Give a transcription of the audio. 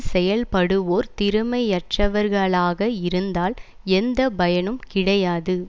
செயல்படுவோர் திறமையற்றவர்களாக இருந்தால் எந்த பயனும் கிடையாது